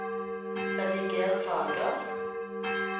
rediger farger